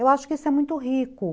Eu acho que isso é muito rico.